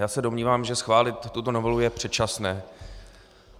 Já se domnívám, že schválit tuto novelu je předčasné.